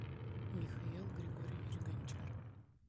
михаил григорьевич гончар